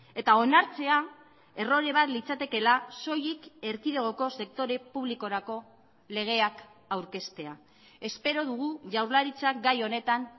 eta onartzea errore bat litzatekeela soilik erkidegoko sektore publikorako legeak aurkeztea espero dugu jaurlaritzak gai honetan